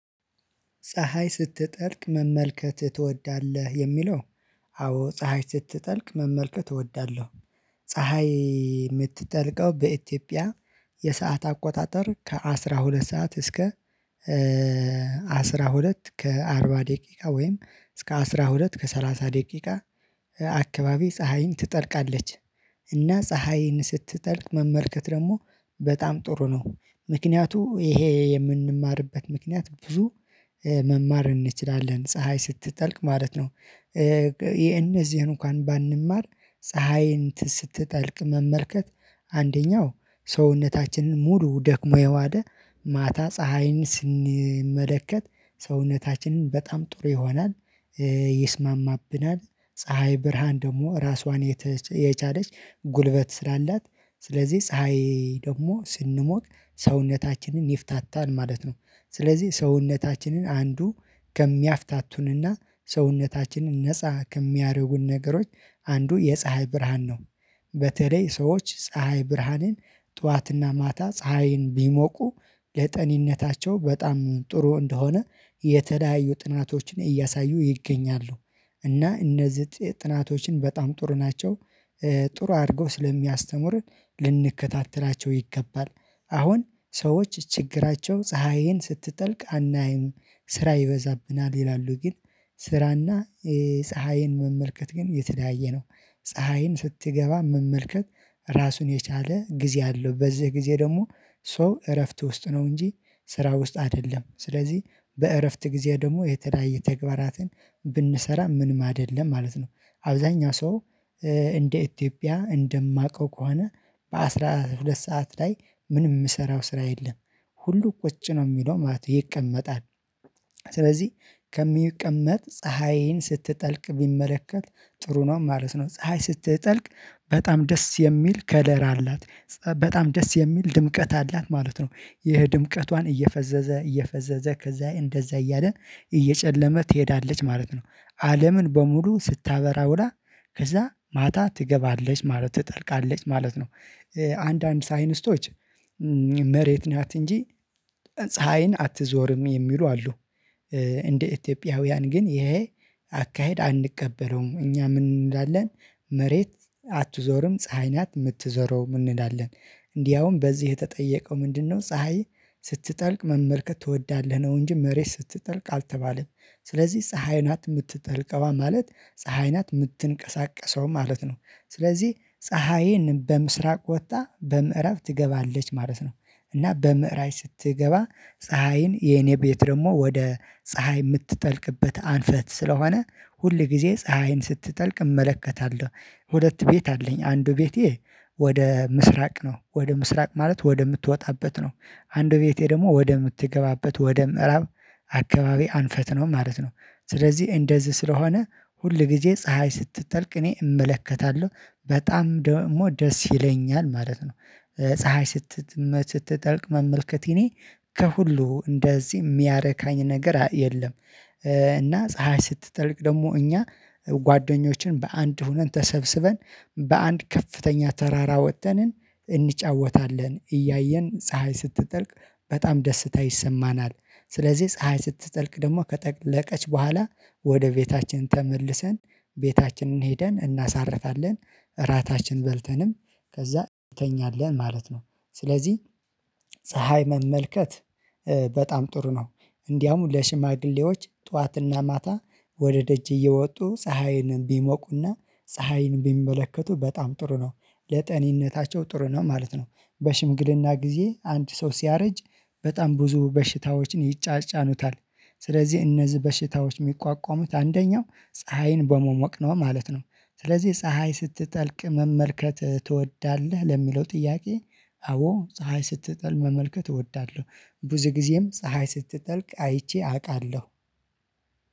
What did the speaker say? ፀሀይ ስትጠልቅ መመልከት ትወዳለህ የሚለው? አዎ ፀሀይ ስትጠልቅ መመልከት እወዳለሁ። ፀሀይ የምትጠልቀው በኢትዮጵያ የሰዓት አቆጣጠር ከአስራ ሁለት ሰዓት እስከ አስራ ሁለት ከአርባ ደቂቃ ወይም እስከ አስራ ሁለት ከሰላሳ ደቂቃ አካባቢ ፀሀይ ትጠልቃለች እና ፀሀይን ስትጠልቅ መመልከት ደግሞ በጣም ጥሩ ነው። ምክንያቱ ይሄ የምንማርበት ምክንያት ብዙ መማር እንችላለን ፀሀይ ስትጠልቅ ማለት ነው። የእነዚህን እንኳን ባንማር ፀሀይ ስትጠልቅ መመልከት አንደኛው ሰውነታችንን ሙሉ ደክሞ የዋለ ማታ ፀሀይን ስንመለከት ሰውነታችንን በጣም ጥሩ ይሆናል። ይስማማብናል ፀሀይ ብርሃን ደግሞ ራሷን የቻለች ጉልበት ስላላት ስለዚህ ፀሀይ ደግሞ ስንሞቅ ሰውነታችንን ይፍታታል ማለት ነው ስለዚህ ሰውነታችንን አንዱ ከሚያፍታቱንና ሰውነታችንን ነፃ ከሚያረጉን ነገሮች አንዱ የፀሀይ ብርሃን ነው። በተለይ ሰዎች ፀሀይ ብርሃንን ጠዋትና ማታ ፀሀይን ቢሞቁ ለጤንነታቸው በጣም ጥሩ እንደሆነ የተለያዩ ጥናቶችን እያሳዩ ይገኛሉ እና እነዚህ ጥናቶችን በጣም ጥሩ ናቸው ጥሩ አድርገው ስለሚያስተምሩ ልንከታተላቸው ይገባል። አሁን ሰዎች ችግራቸው ፀሀይን ስትጠልቅ አናይም ስራ ይበዛብናል ይላሉ ግን ስራና ፀሀይን መመልከት ግን የተለየየ ነው። ፀሀይን ስትገባ መመልከት ራሱን የቻለ ጊዜ አለው በዚህ ጊዜ ደግሞ ሰው እረፍት ውስጥ ነው እንጂ ስራ ውስጥ አይደለም። ስለዚህ በእረፍት ጊዜ ደግሞ የተለያየ ተግባራትን ብንሰራ ምንም አይደለም ለማለት ነው። አብዛኛው ሰው እንደ ኢትዮጵያ እንደማውቀው ከሆነ በአስራ ሁለት ሰዓት ላይ ምንም የምሰራው ስራ የለም ሁሉ ቁጭ ነው የሚለው ማለት ይቀመጣል። ስለዚህ ከሚቀመጥ ፀሀይን ስትጠልቅ ቢመለከት ጥሩ ነው ማለት ነው። ፀሀይ ስትጠልቅ በጣም ደስ የሚል ከለር አላት በጣም ደስ የሚል ድምቀት አላት ማለት ነው ይሄ ድምቀቷን እየፈዘዘ እየፈዘዘ ከዛ እንደዛ እያለን እየጨለመ ትሄዳለች ማለት ነው አለምን በሙሉ ስታበራ ውላ ከዛ ማታ ትገባለች ማለት ትጠልቃለች ማለት ነው። አንዳንድ ሳይንስቶች መሬት ናት እንጂ ፀሀይን አትዞርም የሚሉ አሉ። እንደ ኢትዮጵያውያን ግን ይሄ አካሄድ አንቀበለውም እኛ ምን እንላለን መሬት አትዞርም ፀሀይ ናት የምትዞረው እንላለን። እንዲያውም በዚህ የተጠየቀው ምንድነው ፀሀይ ስትጠልቅ መመልከት ትወዳለህ ነው? እንጂ መሬት ስትጠልቅ አልተባለች ስለዚህ ፀሀይ ናት የምትጠልቀዋ ማለት ፀሀይ ናት የምትንቀሳቀሰው ማለት ነው ስለዚህ ፀሀይን በምስራቅ ወጥታ በምዕራብ ትገባለች ማለት ነው። እና በምዕራብ ስትገባ ፀሀይን የኔ ቤት ደግሞ ወደ ፀሀይ የምትጠልቅበት አንፈት ስለሆነ ሁል ጊዜ ፀሀይን ስትጠልቅ እመለከታለሁ። ሁለት ቤት አለኝ አንዱ ቤቴ ወደ ምስራቅ ነው ወደ ምስራቅ ማለት ወደምትወጣበት ነው አንዱ ቤቴ ደግሞ ወደ ምትገባበት ወደ ምዕራብ አካባቢ አንፈት ነው ማለት ነው። ስለዚህ እንደዚህ ስለሆነ ሁል ጊዜ ፀሀይ ስትጠልቅ እኔ እመለከታለሁ በጣም ደግሞ ደስ ይለኛል ማለት ነው። ፀሀይ ስትጠልቅ መመልከት የኔ ከሁሉ እንደዚህ የሚያረካኝ ነገር የለም። እና ፀሀይ ስትጠልቅ ደግሞ እኛ ጓደኞችን በአንድ ሆነን ተሰብስበን በአንድ ከፍተኛ ተራራ ወጥተን እንጫወታለን እያየን ፀሀይ ስትጠልቅ በጣም ደስታ ይሰማናል። ስለዚህ ፀሀይ ስትጠልቅ ደግሞ ከጠለቀች በኋላ ወደ ቤታችን ተመልሰን ቤታችንን ሄደን እናሳርፋለን እራታችን በልተንም ከዛ እንተኛለን ማለት ነው ስለዚህ ፀሀይ መመልከት በጣም ጥሩ ነው። እንዲያውም ለሽማግሌዎች ጠዋትና ማታ ወደ ደጅ እየወጡ ፀሀይን ቢሞቁና ፀሀይን ቢመለከቱ በጣም ጥሩ ነው ለጤንነታቸው ጥሩ ነው ማለት ነው። በሽምግልና ጊዜ አንድ ሰው ሲያረጅ በጣም ብዙ በሽታዎችን ይጫጫኑታል ስለዚህ እነዚህ በሽታዎች የሚቋቋሙት አንደኛው ፀሀይን በመሞቅ ነው ማለት ነው። ስለዚህ ፀሀይ ስትጠልቅ መመልከት ትወዳለህ ለሚለው ጥያቄ? አዎ ፀሀይ ስትጠል መመልከት እወዳለሁ ብዙ ጊዜም ፀሀይ ስትጠልቅ አይቼ አውቃለሁ።